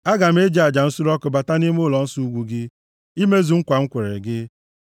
Aga m e ji aja nsure ọkụ bata nʼime ụlọnsọ ukwu gị, imezu nkwa m kwere gị